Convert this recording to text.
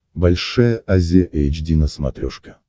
большая азия эйч ди на смотрешке